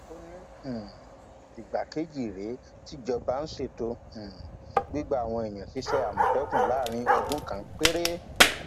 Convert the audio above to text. ó ní um ìgbà kejì rèé tíjọba ń ṣètò um gbígba àwọn èèyàn ṣiṣẹ àmọtẹkùn láàrin ọdún kan péré